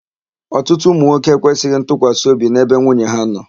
Ọtụtụ ụmụnwoke ekwesịghị ntụkwasịobi n'ebe nwunye ha nọ.